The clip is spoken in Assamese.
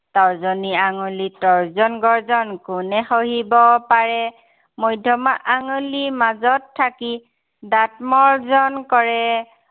তৰ্জনী আঙুলিৰ তৰ্জন গৰ্জন কোনে সহিব পাৰে। মধ্য়মা আঙলি মাজত থাকি, দাঁত মৰ্জন কৰে।